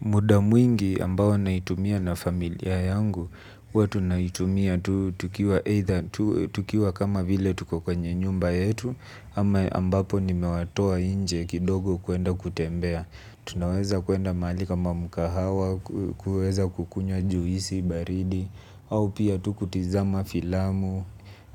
Muda mwingi ambao naitumia na familia yangu, huwa tunaitumia tukiwa kama vile tuko kwenye nyumba yetu, ama ambapo nimewatoa inje kidogo kuenda kutembea. Tunaweza kwenda mahali kama mkahawa kuweza kukunywa juisi baridi au tu kutizama filamu